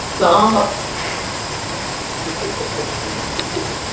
Erla: Þannig að þarna eru reikningarnir?